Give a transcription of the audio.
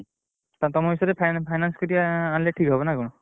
ତମ finance କରିଆ ଆଣିଲେ ଠିକ୍ ହବ ନା କଣ?